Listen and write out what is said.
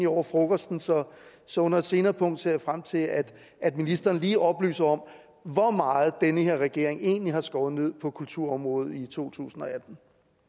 over frokosten så så under et senere punkt ser jeg frem til at at ministeren lige oplyser om hvor meget den her regering egentlig har skåret ned på kulturområdet i totusinde og attende